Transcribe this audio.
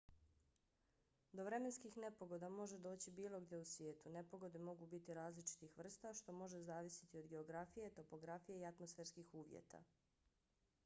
do vremenskih nepogoda može doći bilo gdje u svijetu. nepogode mogu biti različitih vrsta što može zavisiti od geografije topografije i atmosferskih uvjeta